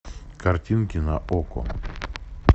картинки на окко